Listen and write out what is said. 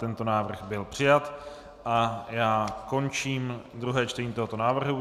Tento návrh byl přijat a já končím druhé čtení tohoto návrhu.